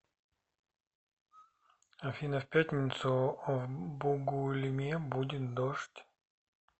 афина в пятницу в бугульме будет дождь